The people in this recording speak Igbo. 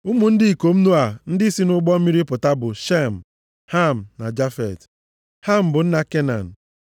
Ụmụ ndị ikom Noa ndị si nʼụgbọ mmiri pụta bụ Shem, Ham na Jafet. (Ham bụ nna Kenan.)